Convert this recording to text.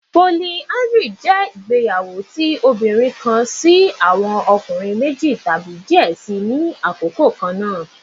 Polyandry jẹ igbeyawo ti obinrin kan si awọn ọkunrin meji tabi diẹ sii ni akoko kanna